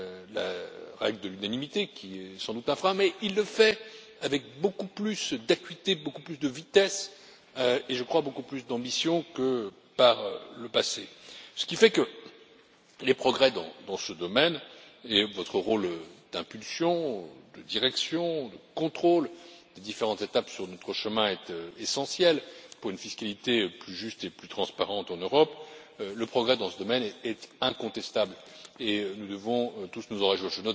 la règle de l'unanimité est sans doute un frein mais il le fait avec beaucoup plus d'acuité, beaucoup plus de vitesse et, je crois, beaucoup plus d'ambition que par le passé, ce qui fait que les progrès dans ce domaine et votre rôle d'impulsion, de direction, de contrôle des différentes étapes sur notre chemin sont essentiels pour une fiscalité plus juste et plus transparente en Europe. Le progrès dans ce domaine est incontestable et nous devons tous nous en réjouir.